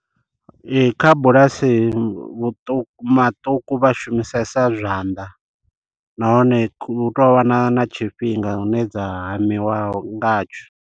Ee kha bulasi vhuṱuku maṱuku vha shumisesa zwanḓa, nahone hu tou vha na na tshifhinga hune dza hamiwa ngatsho.